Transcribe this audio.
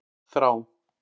Þrá